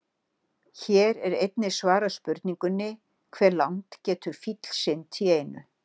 Hér er einnig svarað spurningunni: Hve langt getur fíll synt í einu?